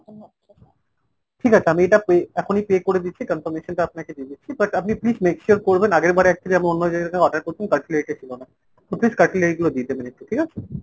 ঠিক আছে আমি এটা pay এখনই pay করে দিচ্ছি confirmation টা আপনাকে দিয়ে দিচ্ছি। but আপনি please make sure করবেন আগেরবার actually আমরা অন্য জায়গা থেকে order করেছিলাম cutlery টা ছিলো না। তো please cutlery গুলো দিয়ে দেবেন একটু ঠিক আছে ?